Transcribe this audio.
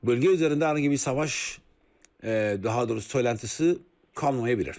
Bölgə üzərində hər hansı bir savaş, daha doğrusu söyləntisi qalmaya bilir.